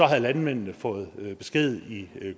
havde landmændene fået besked i